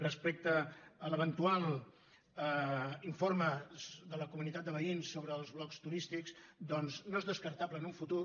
respecte a l’eventual informe de la comunitat de veïns sobre els blocs turístics doncs no es descartable en un futur